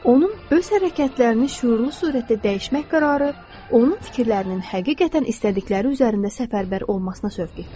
Onun öz hərəkətlərini şüurlu surətdə dəyişmək qərarı onun fikirlərinin həqiqətən istədikləri üzərində səfərbər olmasına sövq etdi.